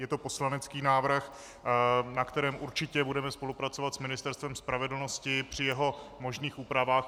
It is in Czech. Je to poslanecký návrh, na kterém určitě budeme spolupracovat s Ministerstvem spravedlnosti při jeho možných úpravách.